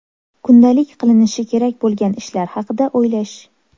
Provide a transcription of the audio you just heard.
Kundalik qilinishi kerak bo‘lgan ishlar haqida o‘ylash.